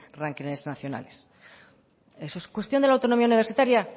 rankings nacionales eso cuestión de la autonomía universitaria